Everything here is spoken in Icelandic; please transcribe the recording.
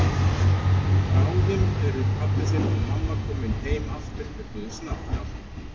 Bráðum eru pabbi þinn og mamma komin heim aftur með Guðs hjálp.